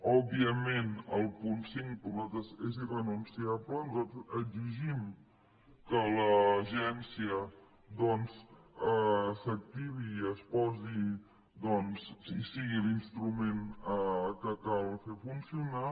òbviament el punt cinc per nosaltres és irrenunciable nosaltres exigim que l’agència doncs s’activi i sigui l’instrument que cal fer funcionar